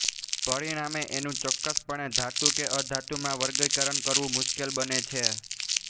પરિણામે એનું ચોક્કસપણે ધાતુ કે અધાતુમાં વર્ગીકરણ કરવું મુશ્કેલ બને છે